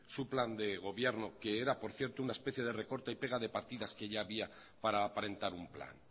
su plan de gobierno que era por cierto una especie de recorta y pega de partidas que ya había para aparentar un plan